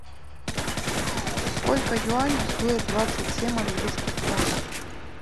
сколько юаней стоят двадцать семь английских фунтов